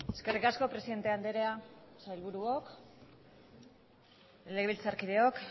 eskerrik asko presidente andrea sailburuok legebiltzarkideok